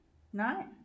Nej